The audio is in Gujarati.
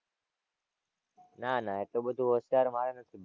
નાં નાં એટલું બધું હોશિયાર મારે નથી.